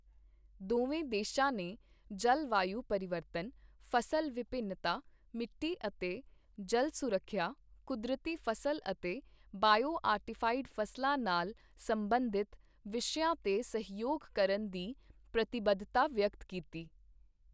ਦੋਵੇਂ ਦੇਸ਼ਾਂ ਨੇ ਜਲਵਾਯੂ ਪਰਿਵਰਤਨ, ਫ਼ਸਲ ਵਿਭਿੰਨਤਾ, ਮਿੱਟੀ ਅਤੇ ਜਲ ਸੁਰੱਖਿਆ, ਕੁਦਰਤੀ ਫ਼ਸਲ ਅਤੇ ਬਇਓ ਆਰਟੀਫਾਈਡ ਫ਼ਸਲਾਂ ਨਾਲ ਸਬੰਧਿਤ ਵਿਸ਼ਿਆਂ ਤੇ ਸਹਿਯੋਗ ਕਰਨ ਦੀ ਪ੍ਰਤੀਬੱਧਤਾ ਵਿਅਕਤ ਕੀਤੀ।